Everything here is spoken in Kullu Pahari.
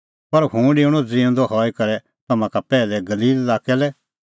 पर हुंह डेऊणअ ज़िऊंदअ हई करै तम्हां का पैहलै गलील लाक्कै लै